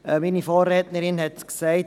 – Meine Vorrednerin hat es gesagt.